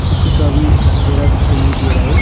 किसी का भी चेहरा दिखाई नहीं दे रहा है।